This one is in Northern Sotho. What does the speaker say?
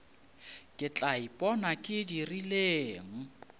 ke tla ipona ke dirileng